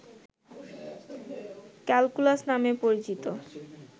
calculus নামে পরিচিত